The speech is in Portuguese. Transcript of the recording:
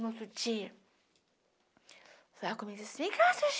No outro dia, ela começou assim,